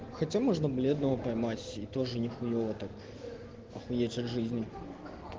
хотя можно бледного поймать и тоже не хуева так охуеть от жизни